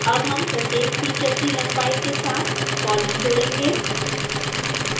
अब हम प्रत्येक फीचर की लंबाई के साथ कॉलम जोड़ेंगे